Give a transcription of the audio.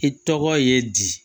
I tɔgɔ ye di